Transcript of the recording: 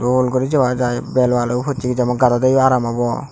gol guri joga jai belo alo pocchegi jempn gadodeyo aram obo.